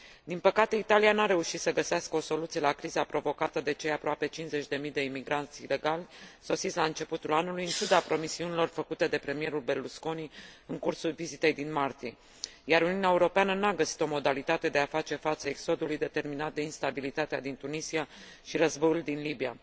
Din păcate, Italia nu a reușit să găsească o soluție la criza provocată de cei aproape cincizeci de mii de imigranți ilegali sosiți la începutul anului, în ciuda promisiunilor făcute de premierul Berlusconi în cursul vizitei din martie, iar Uniunea Europeană n a găsit o modalitate de a face față exodului determinat de instabilitatea din Tunisia și războiul din Libia.